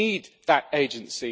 We need that agency.